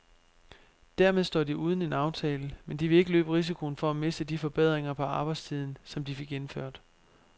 Dermed står de uden en aftale, men de vil ikke løbe risikoen for at miste de forbedringer på arbejdstiden, som de fik indført.